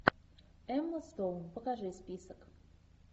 эмма стоун покажи список